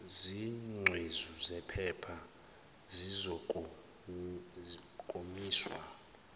zingcezu zephepha zizokomiswa